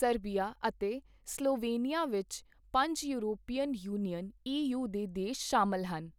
Serbia ਅਤੇ Slovenia ਵਿਚ ਪੰਜ ਯੂਰਪੀਅਨ ਯੂਨੀਅਨ ਈ ਯੂ ਦੇ ਦੇਸ਼ ਸ਼ਾਮਿਲ ਹਨ।